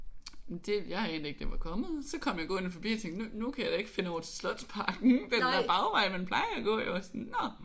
Det jeg anede ikke det var kommet! Så kom jeg gående forbi og tænkte nu nu kan jeg da ikke finde over til Slotsparken af den der bagvej man plejer at gå. Jeg var sådan nåh